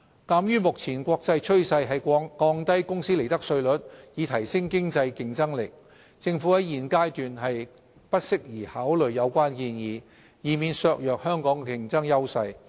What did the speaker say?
鑒於目前國際趨勢是降低公司利得稅率以提升經濟競爭力，政府在現階段不適宜考慮有關建議，以免削弱香港的競爭優勢。